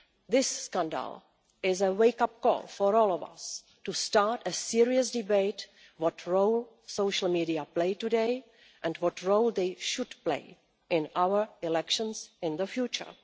This scandal is a wake up call for all of us to start a serious debate on what role social media plays today, and what role they should play in our elections in the future.